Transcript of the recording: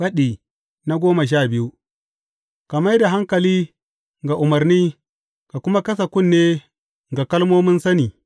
Faɗi goma sha biyu Ka mai da hankali ga umarni ka kuma kasa kunne ga kalmomin sani.